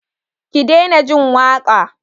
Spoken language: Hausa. Ki daina jin waƙa!